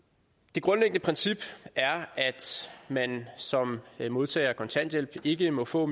grundlæggende princip er at man som modtager af kontanthjælp ikke må få